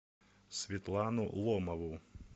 светлану ломову